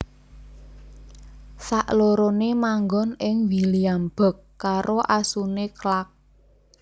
Saklorone manggon ing Williamsburg karo asune Clark